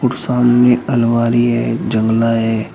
और सामने अलमारी है जंगला है।